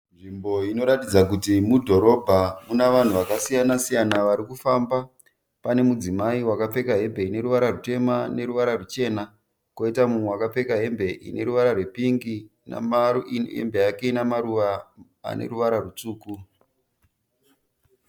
Nzvimbo inoratidza kuti mudhorobha. Mune vanhu vakasiyana siyana vari kufamba. Pane mudzimai wakapfeka hembe ine ruvara rutema neruvara ruchena kwoita mumwe akapfeka hembe ine ruvara rwepingi nehembe yake ine maruva ane ruvara rutsvuku.